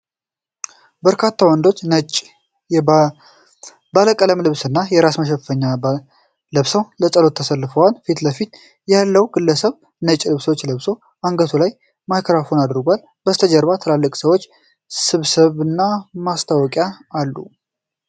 በርካታ ወንዶች ነጭ እና ባለቀለም ልብስና የራስ መሸፈኛ ለብሰው ለጸሎት ተሰልፈዋል። ፊት ለፊት ያለው ግለሰብ ነጭ ልብስ ለብሶ፣ አንገቱ ላይ ማይክሮፎን አድርጓል። ከበስተጀርባ ትልቅ የሰዎች ስብስብና ማስታወቂያ አሉ።